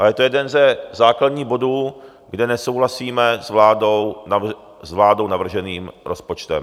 A je to jeden ze základních bodů, kde nesouhlasíme s vládou navrženým rozpočtem.